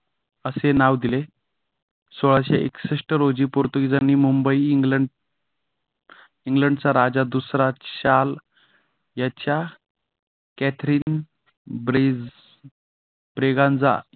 असे नाव दिले. सोळाशे एकसष्ट रोजी पोर्तुगीजांनी मुंबई इंग्लंड इंग्लंड चा राजा दुसरा शाल याच्या कॅथरीन ब्रेस ब्रिगेन्झा